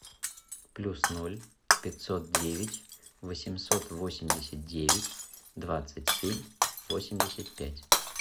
плюс ноль пятьсот девять восемьсот восемьдесят девять двадцать семь восемьдесят пять